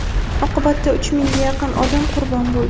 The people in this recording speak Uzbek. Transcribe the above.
Oqibatda uch mingga yaqin odam qurbon bo‘ldi.